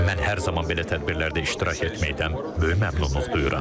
Mən hər zaman belə tədbirlərdə iştirak etməkdən böyük məmnunluq duyuram.